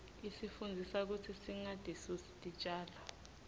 isifundzisa kutsi singatisusi titjalo